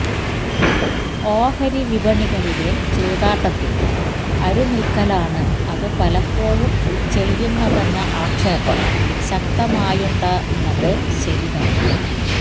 ഓഹരി വിപണികളിലെ ചൂതാട്ടത്തിന് അരുനിൽക്കലാണ് അത് പലപ്പോഴും ചെയ്യുന്നതെന്ന ആക്ഷേപം ശക്തമായുണ്ടെന്നത് ശരിതന്നെ